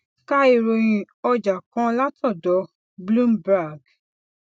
ka ìròyìn ọjà kan látòdò bloomberg